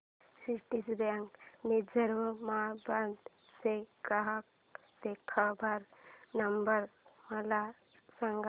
Citibank Nizamabad चा ग्राहक देखभाल नंबर मला सांगा